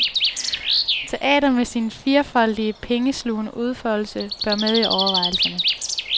Teater med sin firfoldige pengeslugende udfoldelse, bør med i overvejelserne.